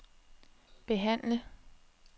behandle